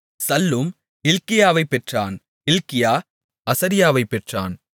Shallum இல்க்கியாவைப் பெற்றான் இல்க்கியா அசரியாவைப் பெற்றான்